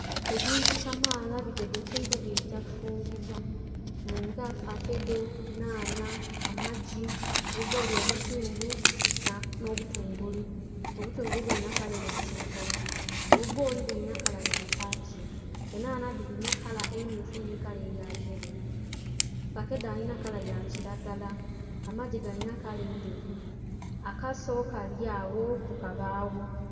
Ebintu kamaala bitegekeibwa biligya kufumbibwa nga fakedo, nhanha, amaggi, obubboli obuzungu nho butungulu, obutungulu bilinha kala eya kilagala, obubboli bulina kala ya kakii, enhanha dhilina kala emyufu nhi kala eua yeelo, fakedo alinha kala ya kilagala, amaggi galina kala endheru akaso kali agho ku kabagho